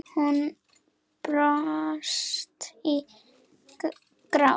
Hún brast í grát.